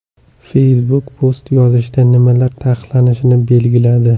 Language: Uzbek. Facebook post yozishda nimalar taqiqlanishini belgiladi.